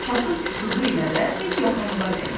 Kasıb-küsubu ilə də heç yaxınlığa dəyməz.